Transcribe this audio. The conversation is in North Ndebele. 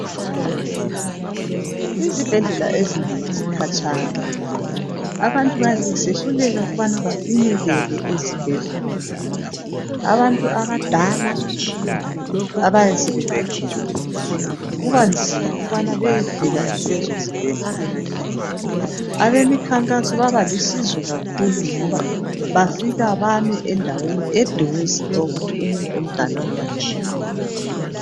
Izibhedlela ezinengi zikatshana abantu bayabe besehluleka ukubane bafinyelele ezibhedlela abantu abadala ababe sebegugile kuba nzima ukubane bayefika kulezo zibhedlela abemikhankaso babalusizo kakhulu ngoba bafika bame endaweni eduze okuthi umuntu omdala uyafika